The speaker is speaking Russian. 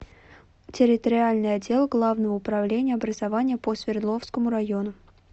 территориальный отдел главного управления образования по свердловскому району